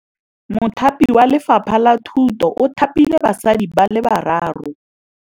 Mothapi wa Lefapha la Thutô o thapile basadi ba ba raro.